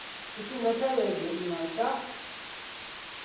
tshifhinga tsha vhege nna tsha